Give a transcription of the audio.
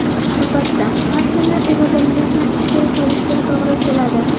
Albatta, har kuni irodangizni ishga solishga to‘g‘ri keladi.